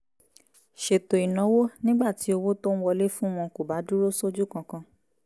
ṣètò ìnáwó nígbà tí owó tó ń wọlé fún wọn kò bá dúró sójú kan kan